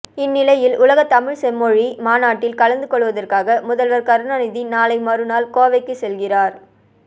இந் நிலையில் உலகத் தமிழ் செம்மொழி மாநாட்டில் கலந்து கொள்வதற்காக முதல்வர் கருணாநிதி நாளை மறுநாள் கோவைக்கு செல்கிறார்